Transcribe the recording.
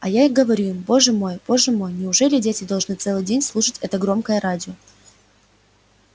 а я им говорю боже мой боже мой неужели дети должны целый день слушать это громкое радио